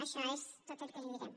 això és tot el que li diré